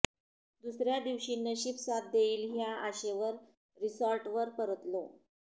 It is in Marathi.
दुसर्या दिवशी नशीब साथ देइल ह्या आशेवर रिसॉर्टवर परतलो